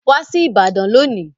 Wá sí ìbàdàn lónìí.